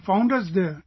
You found us there